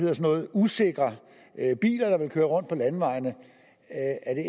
usikre biler der ville køre rundt på landevejene